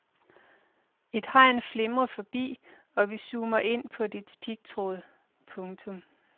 Et hegn flimrer forbi og vi zoomer ind på dets pigtråd. punktum